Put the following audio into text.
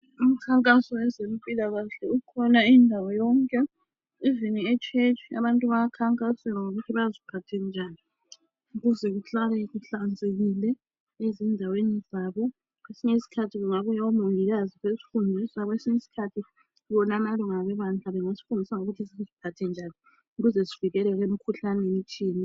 Umkhankaso wezempilakahle ukhona indawo yonke noma esontweni abantu bayakhankasa ngokuthi baziphathe njani ukuze bahlale behlanzekile ezindaweni zabo kwesinye isikhathi kungabuya omongikazi besifundisa kwesinye isikhathi wona amalunga ebandla engasifundisa ngokuthi siziphathe njani ukuze sivikeleke emkhuhlaneni ethile.